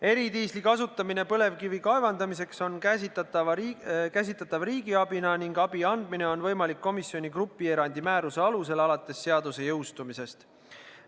Eridiisli kasutamine põlevkivi kaevandamiseks on käsitatav riigiabina ning abi andmine on võimalik komisjoni grupierandi määruse alusel alates seaduse jõustumisest.